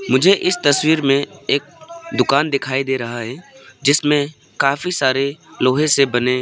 मुझे इस तस्वीर में एक दुकान दिखाई दे रहा है जिसमें काफी सारे लोहे से बने--